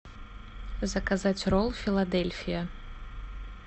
заказать ролл филадельфия